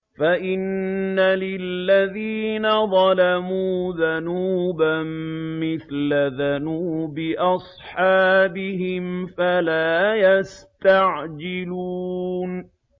فَإِنَّ لِلَّذِينَ ظَلَمُوا ذَنُوبًا مِّثْلَ ذَنُوبِ أَصْحَابِهِمْ فَلَا يَسْتَعْجِلُونِ